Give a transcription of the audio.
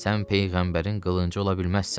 Sən peyğəmbərin qılıncı ola bilməzsən.